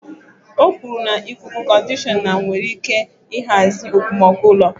O kwuru na ikuku-conditioner nwere ike ịhazi mkpomọkụ ụlọ.